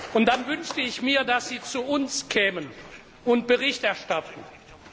Und dann wünschte ich mir, dass Sie zu uns kämen und Bericht erstatteten.